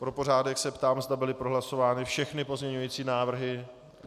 Pro pořádek se ptám, zda byly prohlasovány všechny pozměňovací návrhy.